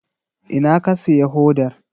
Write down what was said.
Ina ka siya hodar?